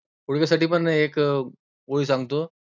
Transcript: गुडघेसाठी पण एक गोळी सांगतो.